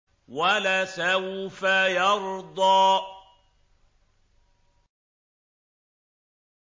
وَلَسَوْفَ يَرْضَىٰ